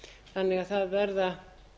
þannig að það verða